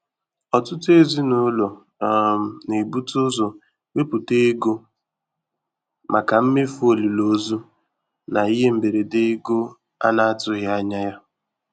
Ọtụtụ ezinụlọ um na-ebute ụzọ wepụta ego maka mmefu olili ozu na ihe mberede ego a na-atụghị anya ya.